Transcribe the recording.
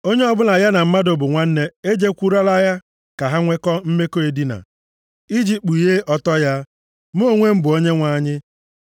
“ ‘Onye ọbụla ya na mmadụ bụ nwanne e jekwurukwala ya ka ha nwe mmekọ edina, i ji kpughee ọtọ ya. Mụ onwe m bụ Onyenwe anyị.